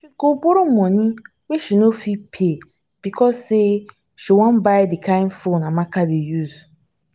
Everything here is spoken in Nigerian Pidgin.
she go borrow moni wey she no fit pay because sey she wan buy di kind phone amaka dey use.